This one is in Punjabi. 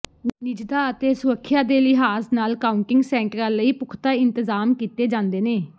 ਨਿੱਜਤਾ ਅਤੇ ਸੁਰੱਖਿਆ ਦੇ ਲਿਹਾਜ਼ ਨਾਲ ਕਾਊਂਟਿੰਗ ਸੈਂਟਰਾਂ ਲਈ ਪੁਖਤਾ ਇੰਤਜ਼ਾਮ ਕੀਤੇ ਜਾਂਦੇ ਨੇ